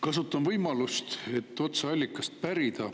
Kasutan võimalust, et otse allikalt pärida.